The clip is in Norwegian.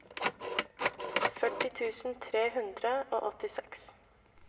førti tusen tre hundre og åttiseks